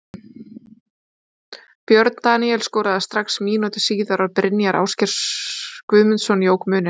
Björn Daníel skoraði strax mínútu síðar og Brynjar Ásgeir Guðmundsson jók muninn.